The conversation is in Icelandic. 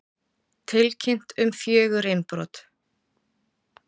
Tilkynnt um fjögur innbrot